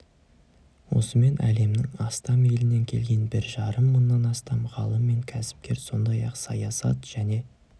осымен әлемнің астам елінен келген бір жарым мыңнан астам ғалым мен кәсіпкер сондай-ақ саясат және